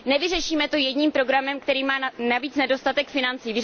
Nevyřešíme to jedním programem, který má navíc nedostatek financí.